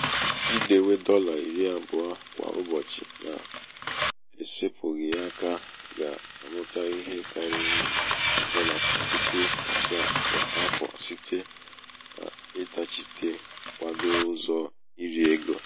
idewe dọlà iri àbụọ kwa ụbọ̀chị na-esēpụ̀ghị̀ aka ga-àmụta ihe karịrị dọla puku àsaà kwà afọ̀ site n’ịtachịte kwadoo ụzọ̀ irī egō.